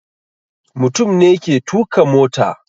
Mutum ne ke tuka mota.